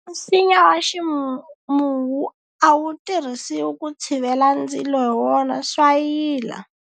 Nsinya wa ximuwu a wu tirhisiwi ku tshivela ndzilo hi wona swa yila.